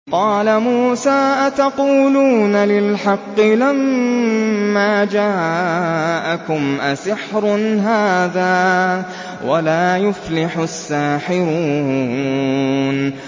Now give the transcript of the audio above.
قَالَ مُوسَىٰ أَتَقُولُونَ لِلْحَقِّ لَمَّا جَاءَكُمْ ۖ أَسِحْرٌ هَٰذَا وَلَا يُفْلِحُ السَّاحِرُونَ